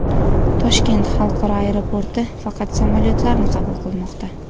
Toshkent xalqaro aeroporti faqat samolyotlarni qabul qilmoqda.